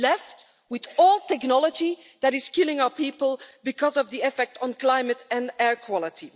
To be left with all technology that is killing our people because of the effect on climate and air quality?